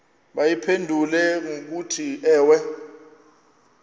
bayiphendule ngokuthi ewe